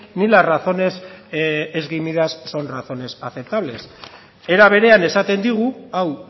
ni las razones esgrimidas son razones aceptables era berean esaten digu hau